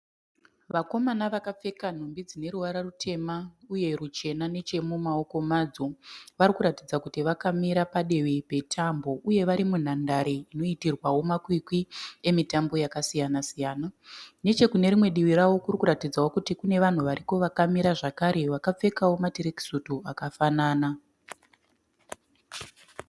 Vakomana vakapfeka nhumbi dzine ruvara rutema uye ruchena nechemumaoko madzo. Varikuratidza kuti vakamira padivi petambo uye varimunhandare inoitirwawo makwikwi emitambo yakasiyana siyana. Nechekune rimwe divi ravo kurikuratidzawo kuti kune vanhu variko vakamirawo zvakare vakapfeka matirekisutu akafanana